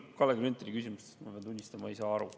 Kalle Grünthali küsimusest, ma pean tunnistama, ma ei saa aru.